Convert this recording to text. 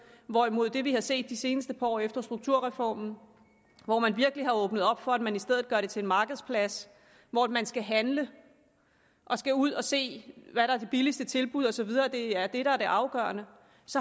hvorimod det vi har set det seneste par år efter strukturreformen hvor man virkelig har åbnet op for at man i stedet gør det til en markedsplads hvor man skal handle og ud at se hvad der er det billigste tilbud og så videre det er det der er det afgørende